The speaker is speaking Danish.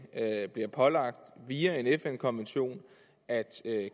bliver pålagt via en fn konvention at